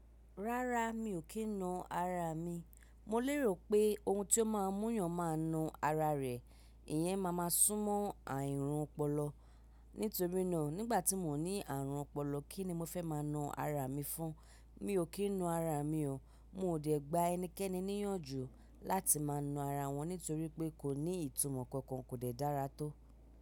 Rárá mi ò kí n nu ara mi. Mo lérò pé ohun tí ó máa ń mú yàn máa nu ara rẹ̀. Ìyẹn máa máa súnmọ́ àìrùn ọpọlọ. Nítorí náà nígbà tí mò ní ààrùn ọpọlọ kí ni mo fẹ́ máa nu ara mi fún un. Mi ò kí ń nu ara mi o. Mo ò dẹ̀ gba ẹnikẹ́ni níyànjú láti máa nu ara wọn nítorí pé kò ní ìtumọ̀ kankan, kò dẹ̀ dára tó.